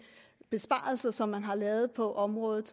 besparelser som man har lavet på området